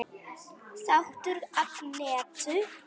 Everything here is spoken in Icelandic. Þáttur Agnetu